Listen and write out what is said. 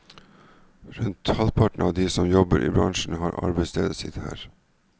Rundt halvparten av de som jobber i bransjen har arbeidsstedet sitt der.